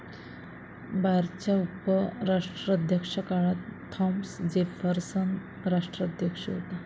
बारच्या उपराष्ट्राध्यक्षाकाळात Thomas Jefferson राष्ट्राध्यक्ष होता।